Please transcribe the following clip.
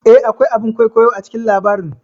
Eh, akwai a bin kwaikwayo a cikin labarin